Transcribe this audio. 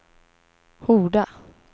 Horda